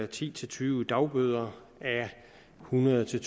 ti til tyve dagbøder a hundrede til